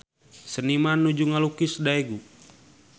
Seniman nuju ngalukis Daegu